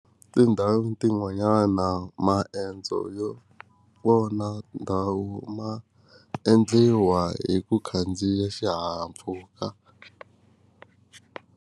Tindhawu tin'wanyana maendzo yo vona ndhawu ma endliwa hi ku khandziya xihahampfhuka.